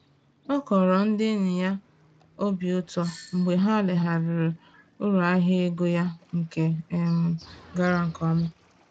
Ọ kọrọ ndị enyi ya obi ụtọ mgbe ha legharịrị uru ahịa ego ya nke um gara nke ọma